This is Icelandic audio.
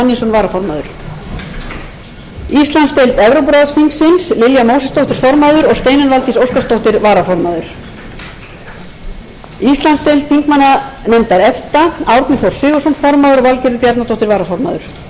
varaformaður steinunn valdís óskarsdóttir íslandsdeild þingmannanefndar efta formaður árni þór sigurðsson varaformaður valgerður bjarnadóttir íslandsdeild nato þingsins formaður björgvin g sigurðsson varaformaður ragnheiður elín árnadóttir íslandsdeild norðurlandaráðs